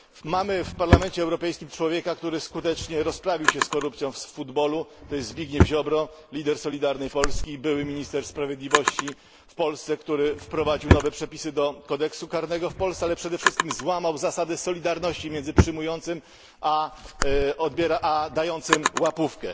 Mamy w Parlamencie Europejskim człowieka, który skutecznie rozprawił się z korupcją w piłce nożnej jest to Zbigniew Ziobro, lider Solidarnej Polski, były minister sprawiedliwości w Polsce, który wprowadził nowe przepisy do kodeksu karnego w Polsce, ale przede wszystkim złamał zasady solidarności między przyjmującym a dającym łapówkę.